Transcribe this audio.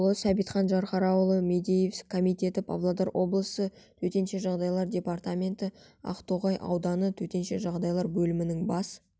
ұлы сәбитхан жанхараұлы мадеев комитеті павлодар облысы төтенше жағдайлар департаменті ақтоғай ауданы төтенше жағдайлар бөлімінің бас